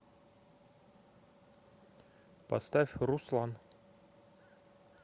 поставь руслан